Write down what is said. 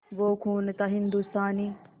वो खून था हिंदुस्तानी